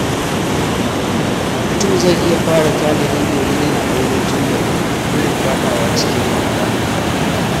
Mutum zai iya fara tanadi domin yin aure tun da wuri gudun faɗa wa cikin wahala.